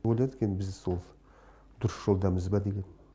ойладық енді біз сол дұрыс жолдамыз ба деген